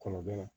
Kɔnɔja